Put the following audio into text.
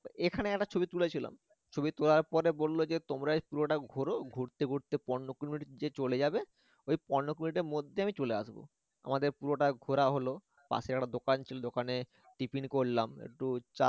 এখানে একটা ছবি তুলেছিলাম ছবি তোলার পরে বললো যে তোমরাই পুরোটা ঘোরো ঘুরতে ঘুরতে পনেরো কুড়ি যে চলে যাবে ঐ পনেরো কুড়িটার মধ্যেই আমি চলে আসবো আমাদের পুরোটা ঘোরা হল পাশে একটা দোকান ছিল দোকানে tiffin করলাম একটু চা